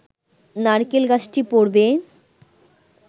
নারকেল গাছটি পড়বে